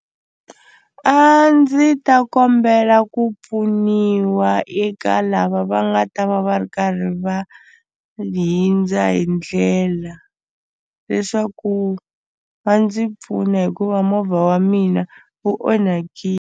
A ndzi ta kombela ku pfuniwa eka lava va nga ta va va ri karhi va hundza hi ndlela leswaku va ndzi pfuna hikuva movha wa mina wu .